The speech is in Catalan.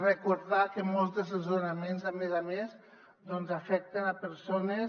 recordar que molts dels desnonaments a més a més afecten persones